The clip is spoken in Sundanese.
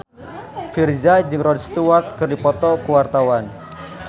Virzha jeung Rod Stewart keur dipoto ku wartawan